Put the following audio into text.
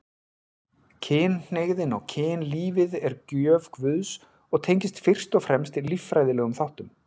Kynhneigðin og kynlífið er gjöf Guðs og tengist fyrst og fremst líffræðilegum þáttum.